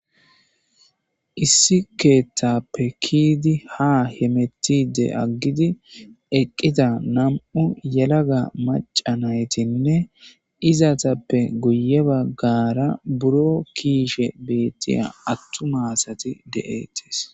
Issi keeththappe kiidi ha hemettide aggidi eqqida nam7u yelaga macanaytinne izatappe guye baggara buro kiishe beettiya attumaasati de'ettis